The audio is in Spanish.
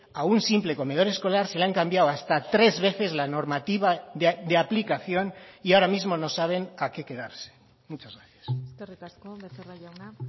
a un simple comedor escolar se le han cambiado hasta tres veces la normativa de aplicación y ahora mismo no saben a qué quedarse muchas gracias eskerrik asko becerra jauna